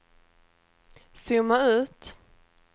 zooma ut